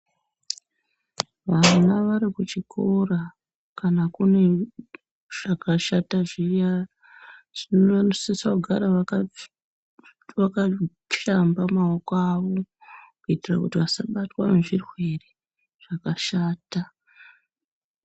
Ana varikuchikora kana kune zvakashata zviya ,zvinosisa kugara vakazvishamba mawoko awo kuitira kuti vasabatwa ngezvirwere zvakashata.